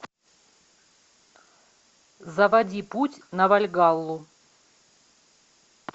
заводи путь на вальгаллу